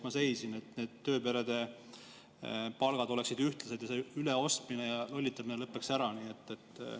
Ma seisin selle eest, et tööperede palgad oleksid ühtlased ja see üleostmine ja lollitamine lõpeks ära.